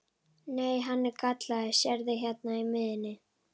Nei, hann er gallaður, sérðu hérna í miðjunni.